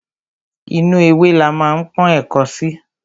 Inú ewé la ma ń pọ́n ẹ̀ko sí.